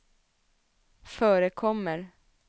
förekommer